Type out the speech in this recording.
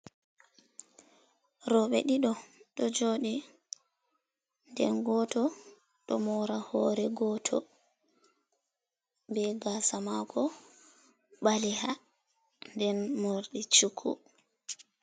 Rooɓe ɗiɗo ɗo joɗi, den goto ɗo mora hore goto be gasa mako baleha den mordi cuku.